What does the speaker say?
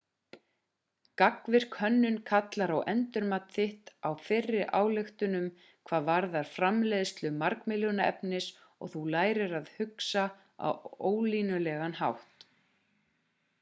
gagnvirk hönnun kallar á endurmat þitt á fyrri ályktunum hvað varðar framleiðslu margmiðlunarefnis og þú lærir að hugsa á ólínulegan hátt